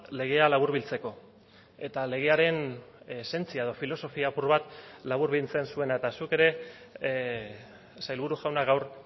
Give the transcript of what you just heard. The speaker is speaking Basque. legea laburbiltzeko eta legearen esentzia edo filosofia apur bat laburbiltzen zuena eta zuk ere sailburu jauna gaur